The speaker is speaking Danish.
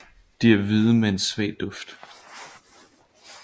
De er hvide med en svag duft